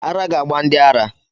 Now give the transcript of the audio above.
Ara ga-gba ndị ara.